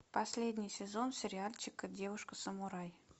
последний сезон сериальчика девушка самурай